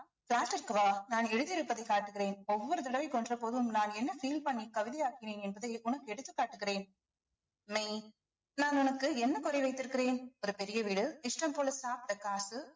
flat ற்க்கு வா நான் எழுதி இருப்பதை காட்டுகிறேன் ஒவ்வொரு தடவையும் கொன்ற போதும் நான் என்ன feel பண்ணி கவிதையாக்கினேன் என்பதை உனக்கு எடுத்துக் காட்டுகிறேன் மெய் நான் உனக்கு என்ன குறை வைத்திருக்கிறேன் ஒரு பெரிய வீடு இஷ்டம் போல சாப்பிட்ட காசு